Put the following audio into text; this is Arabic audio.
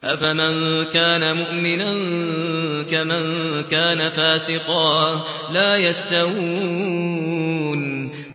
أَفَمَن كَانَ مُؤْمِنًا كَمَن كَانَ فَاسِقًا ۚ لَّا يَسْتَوُونَ